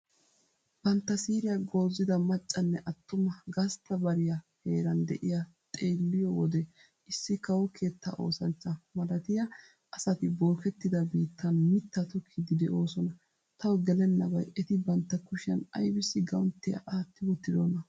Bantta siiriya goozida maccanne attuma gastta bariya heeraan de'iya xeelliyo wode issi kawo keettaa oosanchcha malatiya asati bookettida biittan mittaa tokkiidi de'oosona. Tawu gelennabay eti bantta kushshiyan aybiss guwanttiya aatti wottidona?